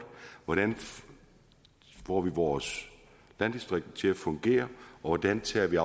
hvordan får vi vores landdistrikter til at fungere og hvordan tager vi